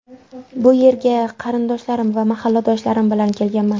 Bu yerga qarindoshlarim va mahalladoshlarim bilan kelganman.